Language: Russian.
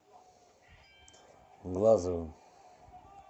глазовым